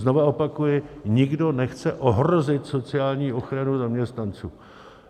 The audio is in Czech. Znova opakuji, nikdo nechce ohrozit sociální ochranu zaměstnanců.